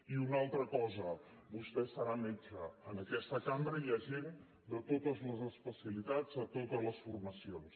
i una altra cosa vostè serà metge en aquesta cambra hi ha gent de totes les especialitats de totes les formacions